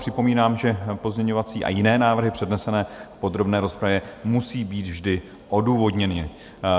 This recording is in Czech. Připomínám, že pozměňovací a jiné návrhy přednesené v podrobné rozpravě musejí být vždy odůvodněny.